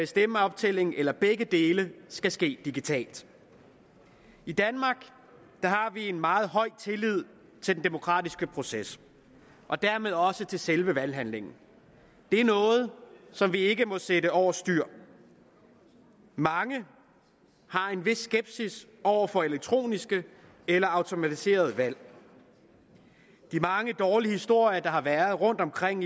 stemmeoptællingen eller begge dele skal ske digitalt i danmark har vi en meget høj tillid til den demokratiske proces og dermed også til selve valghandlingen det er noget som vi ikke må sætte over styr mange har en vis skepsis over for elektroniske eller automatiserede valg de mange dårlige historier der har været rundtomkring